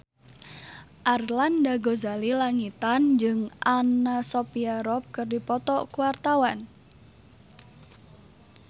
Arlanda Ghazali Langitan jeung Anna Sophia Robb keur dipoto ku wartawan